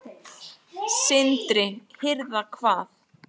Sindri: Hirða hvað?